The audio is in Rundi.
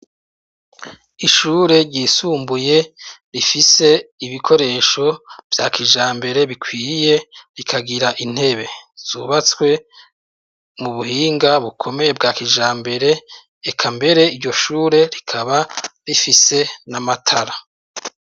Ishure ryisumbuye Rifise ibikoresho vyakijambere bikwiye rikagira intebe zubatswe mubuhinga bukomeye bwakijambere iryoshure rikaba rifise namatara.